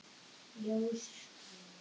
Ljós guðs.